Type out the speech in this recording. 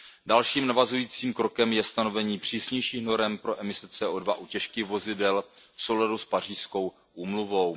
Dalším navazujícím krokem je stanovení přísnějších norem pro emise CO2 u těžkých vozidel v souladu s Pařížskou úmluvou.